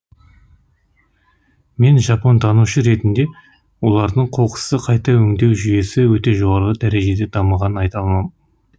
мен жапонтанушы ретінде олардың қоқысты қайта өңдеу жүйесі өте жоғары дәрежеде дамығанын айта аламын